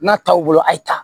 N'a t'aw bolo a ye ta